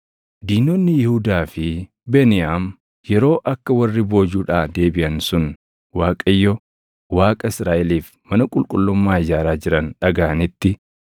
Diinonni Yihuudaa fi Beniyaam yeroo akka warri boojuudhaa deebiʼan sun Waaqayyo Waaqa Israaʼeliif mana qulqullummaa ijaaraa jiran dhagaʼanitti,